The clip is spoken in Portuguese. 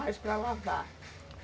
Mas para lavar?